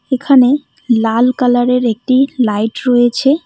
এখানে লাল কালারের একটি লাইট রয়েছে।